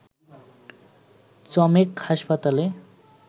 চমেক হাসপাতালে